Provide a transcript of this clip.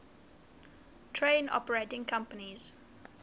train operating companies